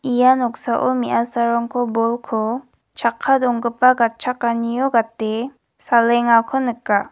ia noksao me·asarangko bolko chakka donggipa gatchakanio gate salengako nika.